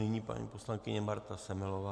Nyní paní poslankyně Marta Semelová.